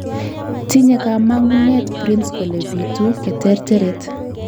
Tinye kamang'unet prince kole biitu katerteret